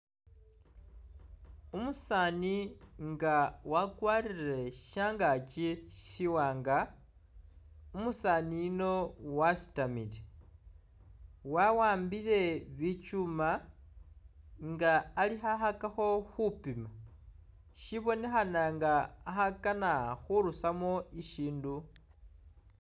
Umusaani nga wakwarire shangaaki siwanga, umusaani yuno wasitamile ,wawambile bikyuuma nga ali khakhakakho khupima, shibonekhana nga akhakana khurusamo ishindu